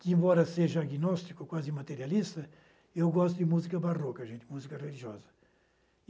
que, embora seja agnóstico, quase materialista, eu gosto de música barroca, música religiosa.